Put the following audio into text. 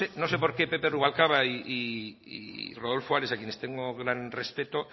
no sé no sé por qué pepe rubalcaba y rodolfo ares a quienes tengo gran respeto